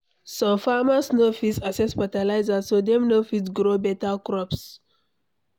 Some farmers no fit access fertilizer, so dem no fit grow better crops.